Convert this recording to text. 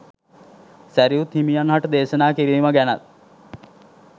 සැරියුත් හිමියන්හට දේශනා කිරීම ගැනත්